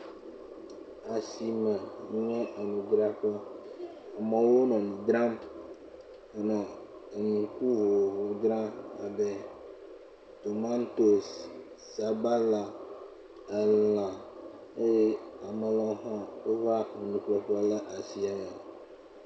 Asime nye enudzraƒe, amewo nɔ nu dzram, nɔ enu nu vovovowo dzram abe tomatosi, sabala, elã eye ame ɖewo hã wova enu ƒle ƒe le asi me